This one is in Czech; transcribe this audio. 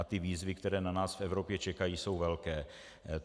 A ty výzvy, které na nás v Evropě čekají, jsou velké.